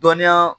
Dɔnniya